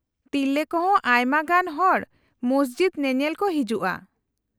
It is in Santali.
-ᱛᱤᱨᱞᱟᱹ ᱠᱚ ᱦᱚᱸ ᱟᱭᱢᱟ ᱜᱟᱱ ᱦᱚᱲ ᱢᱚᱥᱡᱤᱫ ᱧᱮᱧᱮᱞ ᱠᱚ ᱦᱤᱡᱩᱜᱼᱟ ᱾